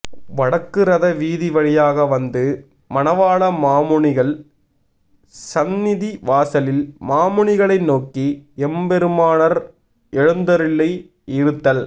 வடக்கு ரத வீதி வழியாக வந்து மணவாள மாமுனிகள் ஸந்நிதி வாசலில் மாமுனிகளை நோக்கி எம்பெருமானார் எழுந்தருளி இருத்தல்